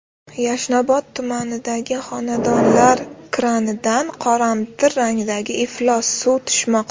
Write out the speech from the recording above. Yashnobod tumanidagi xonadonlar kranidan qoramtir rangdagi iflos suv tushmoqda.